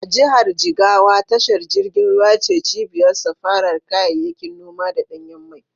A jihar Jigawa tashar jirgin ruwa ce cibiyar safarar kayayyakin noma da ɗanyen mai.